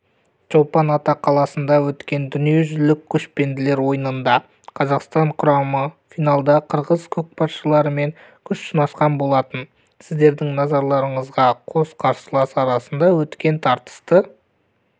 чолпан-ата қаласында өткен дүниежүзілік көшпенділер ойынында қазақстан құрамасы финалда қырғыз көкпаршыларымен күш сынасқан болатын іздердің назарларыңызға қос қарсылас арасында өткен тартысты